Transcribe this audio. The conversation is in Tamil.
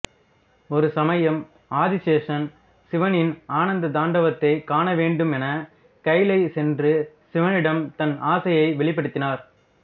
ஓரு சமயம் ஆதிசேஷன் சிவனின் ஆனந்த தாண்டவத்தைக் காணவேண்டுமென கயிலை சென்று சிவனிடம் தன் ஆசையை வெளிப்படுத்தினார்